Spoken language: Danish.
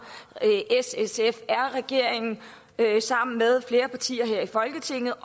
s sf r regeringen sammen med flere partier her i folketinget og